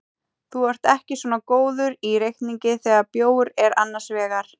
Þú ert ekki svo góður í reikningi þegar bjór er annars vegar.